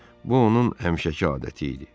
Bu onun həmişəki adəti idi.